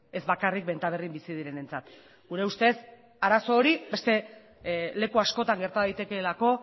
ez bakarrik benta berrin bizi direnentzat gure ustez arazo hori beste leku askotan gerta daitekeelako